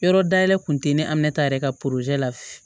Yɔrɔ dayɛlɛ kun tɛ ne ta yɛrɛ ka la